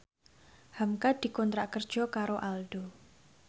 hamka dikontrak kerja karo Aldo